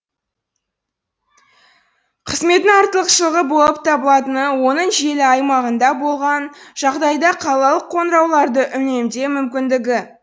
қызметтің артықшылығы болып табылатыны оның желі аймағында болған жағдайда қалалық қоңырауларды үнемдеу мүмкіндігі